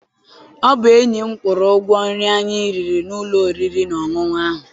Ọ bụ enyi m kwụrụ ụgwọ nri anyị riri n'ụlọ oriri na ọṅụṅụ ahụ.